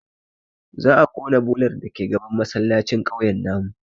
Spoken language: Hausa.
Za a ƙona bolar dake gaban masallacin kauyen mu